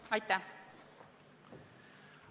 Aitäh!